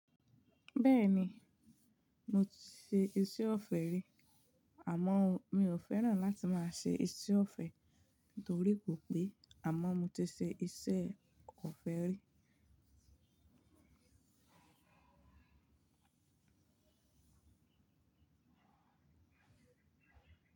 Bẹ́ẹ̀ni, mo ti ṣe iṣẹ́ ọ̀fẹ́ rí, àmọ́ mi ò fẹ́ràn láti máa ṣe iṣẹ́ ọ̀fẹ́ nítorí kò pé àmọ́ mo ti ṣe iṣẹ́ ọ̀fẹ́ rí.